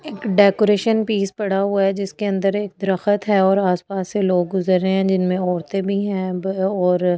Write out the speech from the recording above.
एक decoration piece पड़ा हुआ है जिसके अंदर एक दरख्त है और आसपास से लोग गुजर रहे हैं जिनमें औरतें भी हैं वह और ।